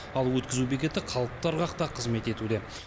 ал өткізу бекеті қалыпты ырғақта қызмет етуде